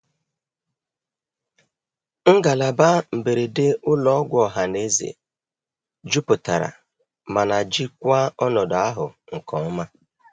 Ụlọ ọgwụ izugbe nke ọha nwere ọnụ ụlọ mberede jupụtara, ma ha jisiri ike dozie ọnọdụ ahụ n'ụzọ ọkachamara.